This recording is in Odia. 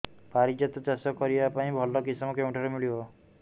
ପାରିଜାତ ଚାଷ କରିବା ପାଇଁ ଭଲ କିଶମ କେଉଁଠାରୁ ମିଳିବ